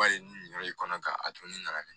Bari ni nin yɔrɔ in kɔnɔ ka a dun ne nana